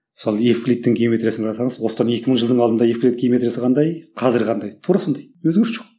мысалы ефриттің геометриясын қарасаңыз осыдан екі мың жылдың алдында ефрит геометриясы қандай қазір қандай тура сондай өзгеріс жоқ